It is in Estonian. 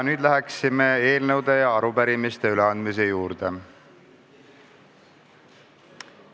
Nüüd läheme eelnõude ja arupärimiste üleandmise juurde.